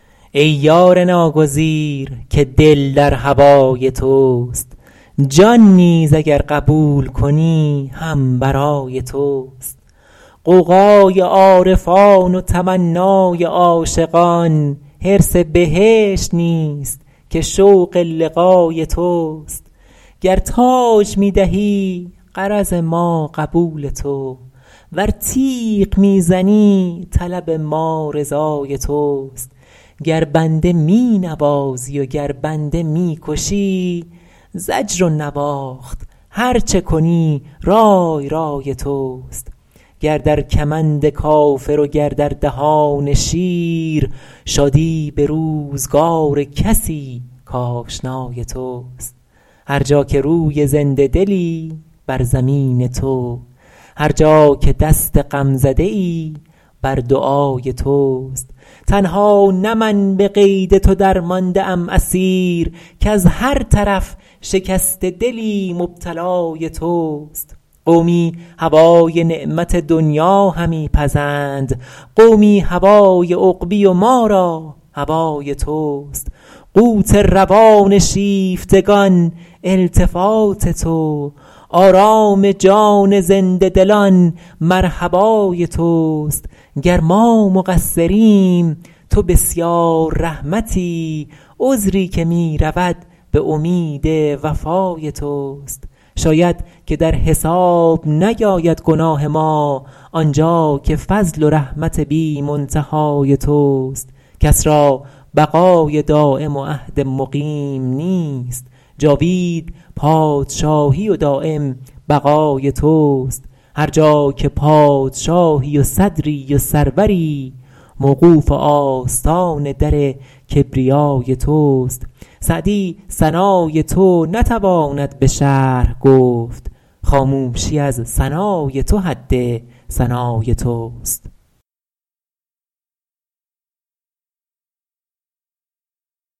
ای یار ناگزیر که دل در هوای توست جان نیز اگر قبول کنی هم برای توست غوغای عارفان و تمنای عاشقان حرص بهشت نیست که شوق لقای توست گر تاج می دهی غرض ما قبول تو ور تیغ می زنی طلب ما رضای توست گر بنده می نوازی و گر بنده می کشی زجر و نواخت هر چه کنی رای رای توست گر در کمند کافر و گر در دهان شیر شادی به روزگار کسی کآشنای توست هر جا که روی زنده دلی بر زمین تو هر جا که دست غمزده ای بر دعای توست تنها نه من به قید تو درمانده ام اسیر کز هر طرف شکسته دلی مبتلای توست قومی هوای نعمت دنیا همی پزند قومی هوای عقبی و ما را هوای توست قوت روان شیفتگان التفات تو آرام جان زنده دلان مرحبای توست گر ما مقصریم تو بسیار رحمتی عذری که می رود به امید وفای توست شاید که در حساب نیاید گناه ما آنجا که فضل و رحمت بی منتهای توست کس را بقای دایم و عهد مقیم نیست جاوید پادشاهی و دایم بقای توست هر جا که پادشاهی و صدری و سروری موقوف آستان در کبریای توست سعدی ثنای تو نتواند به شرح گفت خاموشی از ثنای تو حد ثنای توست